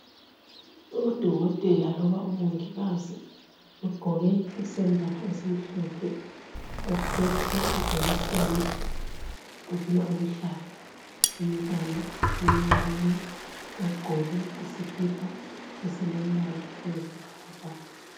Udokotela loba umongikazi ugqoke isembatho esimhlophe ophethe ijekiseni .Ufuna ukuhlaba umntwana omncinyane ogqoke isikipa esilombala oyisibhakabhaka.